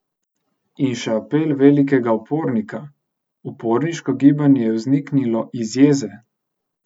In še apel velikega upornika: "Uporniško gibanje je vzniknilo iz jeze.